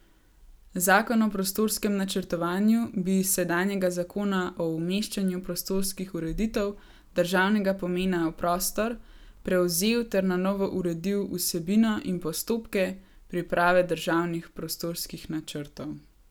Zakon o prostorskem načrtovanju bi iz sedanjega zakona o umeščanju prostorskih ureditev državnega pomena v prostor prevzel ter na novo uredil vsebino in postopke priprave državnih prostorskih načrtov.